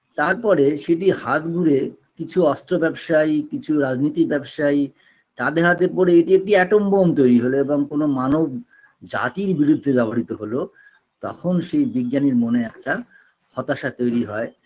তারপরে সেটি হাত ঘুরে কিছু অস্ত্র ব্যবসায়ী কিছু রাজনীতি ব্যবসায়ী তাদের হাতে পরে এটি একটি atom bomb তৈরি হলো এবং কোনো মানব জাতির বিরুদ্ধে ব্যবহৃত হলো তখন সেই বিজ্ঞানীর মনে একটা হতাশা তৈরি হয়